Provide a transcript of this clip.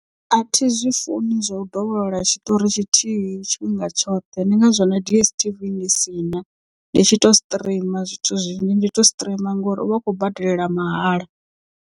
Athi zwi funi zwa u dovholola tshiṱori tshithihi tshifhinga tshoṱhe ndi ngazwo na DSTV ndi si na ndi tshi tou streamer zwithu zwinzhi ndi to streamer ngori uvha u khou badelela mahala.